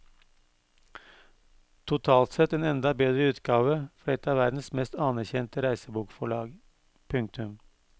Totalt sett en enda bedre utgave fra et av verdens mest anerkjente reisebokforlag. punktum